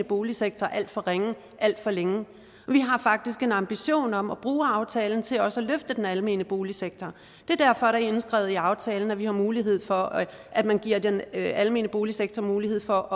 boligsektor alt for ringe alt for længe og vi har faktisk en ambition om at bruge aftalen til også at løfte den almene boligsektor det er derfor der er indskrevet i aftalen at vi har mulighed for at at man giver den almene boligsektor mulighed for